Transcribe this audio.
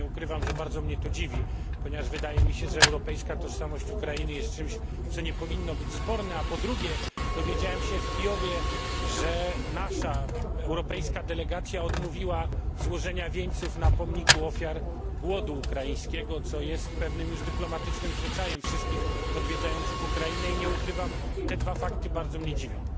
Nie ukrywam, że bardzo mnie to dziwi, ponieważ wydaje mi się, że kwestia europejskiej tożsamości Ukrainy nie powinna być sporna. Po drugie, dowiedziałem się w Kijowie, że nasza europejska delegacja odmówiła złożenia wieńców na pomniku ofiar głodu ukraińskiego, co jest dyplomatycznym zwyczajem wszystkich odwiedzających Ukrainę i nie ukrywam, że te dwa fakty bardzo mnie dziwią.